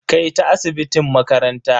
Kai ta asibitin makaranta.